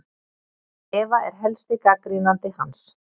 Eva er helsti gagnrýnandi hans.